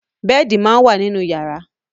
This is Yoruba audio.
Bẹ́ẹ̀di máa ń wà nínú yàrá.